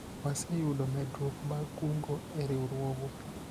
waseyudo medruok mag kungo e riwruogwa